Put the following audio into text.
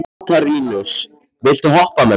Katarínus, viltu hoppa með mér?